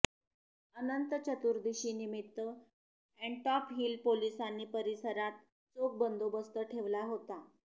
अनंत चतुर्दशीनिमित्त ऍण्टॉप हिल पोलिसांनी परिसरात चोख बंदोबस्त ठेवला होता